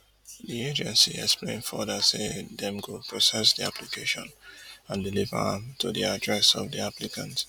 di agency explain further say dem go process di application and deliver am to di address of di applicant